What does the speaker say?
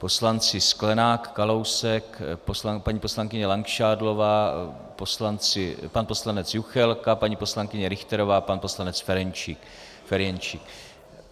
Poslanci Sklenák, Kalousek, paní poslankyně Langšádlová, pan poslanec Juchelka, paní poslankyně Richterová, pan poslanec Ferjenčík.